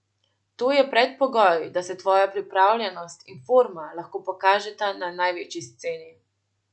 To je predpogoj, da se tvoja pripravljenost in forma lahko pokažeta na največji sceni.